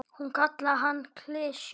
Hún kallaði hann klisju.